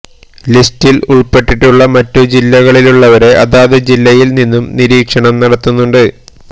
ലിസ്റ്റില് ഉള്പ്പെട്ടിട്ടുള്ള മറ്റു ജില്ലകളിലുള്ളവരെ അതാത് ജില്ലയില് നിന്നും നിരീക്ഷണം നടത്തുന്നുണ്ട്്